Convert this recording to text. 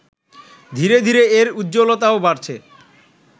ধীরে ধীরে এর উজ্জ্বলতাও বাড়ছে